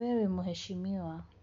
We wĩ mũhecimiwa.